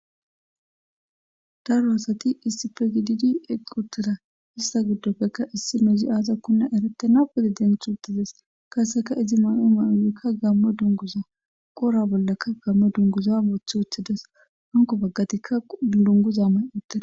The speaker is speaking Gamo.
daro asati issipegididi eqq utteda ista giddopfekka issi mezi aaza kunna erete nawedi dength uttides kaseka izi may7o mayoyikka gammo dunguza qora bollaka gammo dunguza moothi wothides hanko baggatikka dunguza may uttida